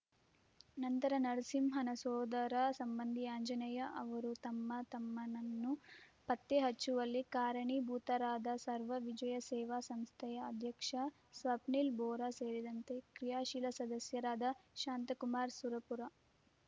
ನಂತರ ನರಸಿಂಹನ ಸೋದರ ಸಂಬಂಧಿ ಆಂಜನೇಯ ಅವರು ತಮ್ಮ ತಮ್ಮನನ್ನು ಪತ್ತೆ ಹಚ್ಚುವಲ್ಲಿ ಕಾರಣೀಭೂತರಾದ ಸರ್ವ ವಿಜಯ ಸೇವಾ ಸಂಸ್ಥೆಯ ಅಧ್ಯಕ್ಷ ಸ್ವಪ್ನಿಲ್‌ ಬೋರಾ ಸೇರಿದಂತೆ ಕ್ರಿಯಾಶೀಲ ಸದಸ್ಯರಾದ ಶಾಂತಕುಮಾರ ಸುರಪುರ